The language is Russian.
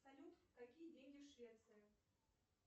салют какие деньги в швеции